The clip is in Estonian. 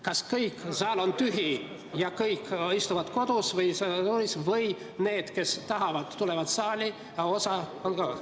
Kas seda, et kogu saal on tühi ja kõik istuvad kodus, või seda, et need, kes tahavad, tulevad saali ja osa on kodus?